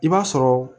I b'a sɔrɔ